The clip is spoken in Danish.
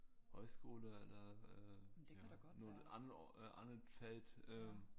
Højskoler eller øh ja nogle andre andet felt øh